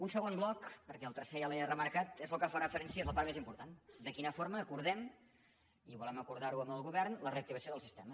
un segon bloc perquè el tercer ja l’he remarcat és el que fa referència a la part més important de quina forma acordem i ho volem acordar amb el govern la reactivació del sistema